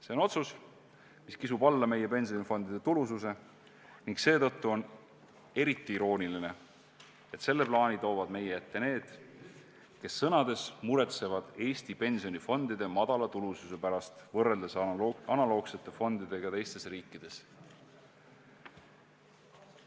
See on otsus, mis kisub alla meie pensionifondide tulususe ning seetõttu on eriti irooniline, et selle plaani toovad meie ette need, kes sõnades muretsevad Eesti pensionifondide madala tulususe pärast võrreldes analoogsete fondidega teistes riikides.